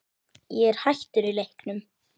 Ég er hættur í leiknum